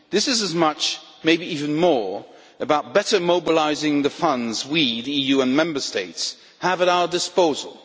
This is as much, maybe even more, about better mobilising the funds we the EU and Member States have at our disposal.